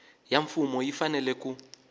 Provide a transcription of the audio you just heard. ya mfumo yi fanele ku